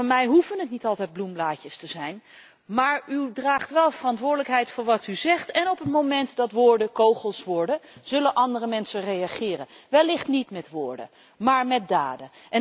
Van mij hoeven het niet altijd bloemblaadjes te zijn, maar u draagt wel verantwoordelijkheid voor wat u zegt en op het moment dat woorden kogels worden, zullen andere mensen reageren, wellicht niet met woorden maar met daden.